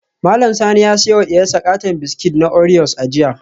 Mallam Sani ya siyo wa diyarsa katon biskit na oreos a jiya